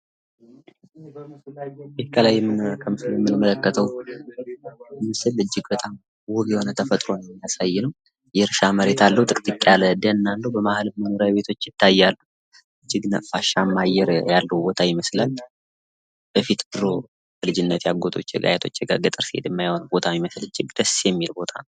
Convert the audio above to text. ምስሉ ላይ የምንመለከተው በጣም የሚያምር አካባቢን ነው ።ጥቅጥቅ ያለ ጫካ ይታያል አጠገቡ። እጅግ ነፋሻማ አየር ያለው ቦታ ይመስላል። ድሮ አያቶቸ ፣አጎቶቸ ጋ ገጠር ስሄድ አየዉ የነበረው አይነት እጅግ ደስ የሚል ቦታ።